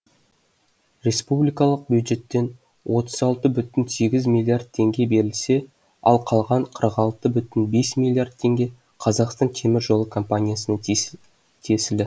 республикалық бюджеттенотыз алты бүтін сегіз миллиард теңге берілсе ал қалған қырық алты бүтін бес миллиард теңге қазақстан темір жолы компаниясына тиесілі